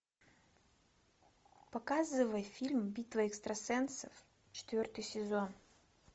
показывай фильм битва экстрасенсов четвертый сезон